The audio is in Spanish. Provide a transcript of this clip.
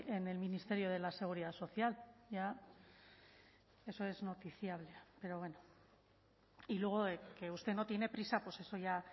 en el ministerio de la seguridad social ya eso es noticiable pero bueno y luego que usted no tiene prisa pues eso ya